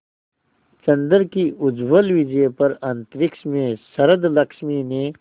चंद्र की उज्ज्वल विजय पर अंतरिक्ष में शरदलक्ष्मी ने